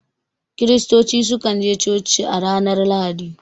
Kiristoci su kan je coci a ranar Lahadi